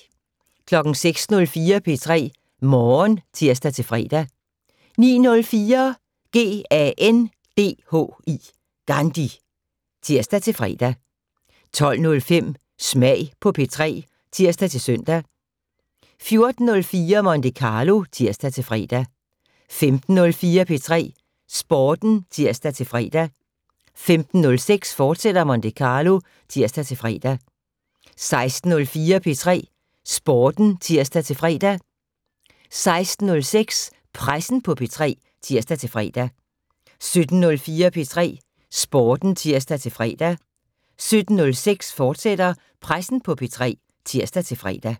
06:04: P3 Morgen (tir-fre) 09:04: GANDHI (tir-fre) 12:05: Smag på P3 (tir-søn) 14:04: Monte Carlo (tir-fre) 15:04: P3 Sporten (tir-fre) 15:06: Monte Carlo, fortsat (tir-fre) 16:04: P3 Sporten (tir-fre) 16:06: Pressen på P3 (tir-fre) 17:04: P3 Sporten (tir-fre) 17:06: Pressen på P3, fortsat (tir-fre)